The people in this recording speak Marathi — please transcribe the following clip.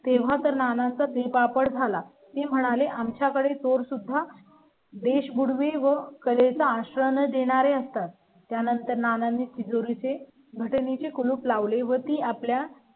तेव्हा तर नाना चा तिळ पापड झाला म्हणाले. आमच्याकडे तो सुद्धा देश बुडवी वगैरे चा आश्रम देणारे असतात. त्यानंतर नानांनी तिजोरी ची घट नी कुलूप लावले व ती आपल्या